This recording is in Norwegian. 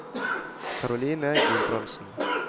Caroline Gulbrandsen